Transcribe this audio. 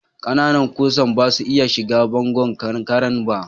Ƙananan kusan basu iya shiga bangon kankaren ba.